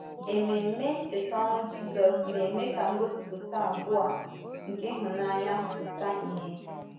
Èmèmé Ncheta ọnwụ Jízọ́s na-eme ka ngosịpụta abụọ a nke ịhụnanya pụta ìhè.